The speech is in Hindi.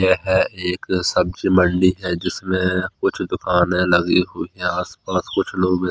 यह एक सब्जी मंडी है जिसमें कुछ दुकानें लगी हुई है। आस पास कुछ लोग है।